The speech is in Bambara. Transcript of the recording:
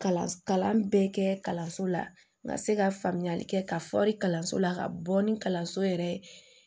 Kalan kalan bɛɛ kɛ kalanso la n ka se ka faamuyali kɛ ka kalanso la ka bɔ ni kalanso yɛrɛ